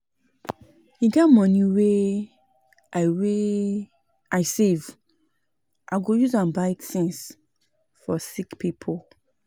E get moni wey I wey I save, I go use am buy tins for sick pipo.